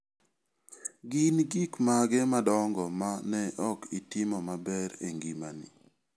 Gin gik mage madongo ma ne ok itimo maber e ngimani?